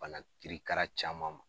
Bana kiri kara caman ma.